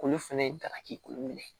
Olu fɛnɛ dagaki minɛ